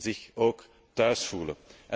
zich ook thuis voelen.